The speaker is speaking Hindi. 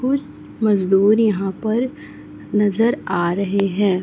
कुछ मजदूर यहां पर नजर आ रहे हैं।